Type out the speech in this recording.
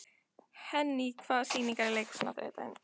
Henný, hvaða sýningar eru í leikhúsinu á þriðjudaginn?